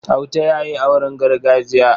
Auta ya yi auren gargajiya.